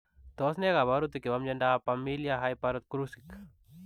Tos nee kabarutik chepooo miondoop Pamilia haipokalsurik